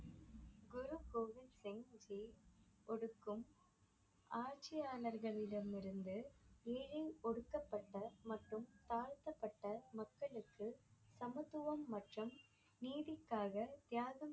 குரு கோவிந் சிங் ஜி ஒடுக்கம் ஆட்சியாளர்களிடம் இருந்து ஏழை ஒடுக்கப்பட்ட மற்றும் தாழ்த்தப்பட்ட மக்களுக்கு சமத்துவம் மற்றும் நீதிக்காக தியாகம்